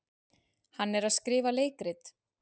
Hann er að skrifa leikrit.